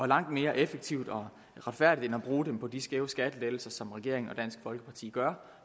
langt mere effektivt og retfærdigt end at bruge dem på de skæve skattelettelser som regeringen og dansk folkeparti gør